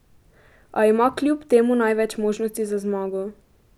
A ima kljub temu največ možnosti za zmago.